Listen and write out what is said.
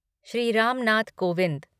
Shri Ram Nath Kovind